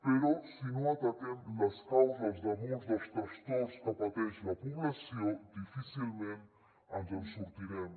però si no ataquem les causes de molts dels trastorns que pateix la població difícilment ens en sortirem